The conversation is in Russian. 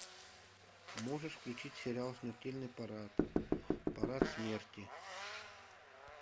можешь включить сериал смертельный парад парад смерти